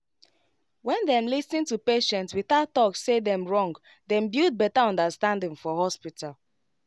when dem lis ten to patient without talk say dem wrong dem build better understanding for hospital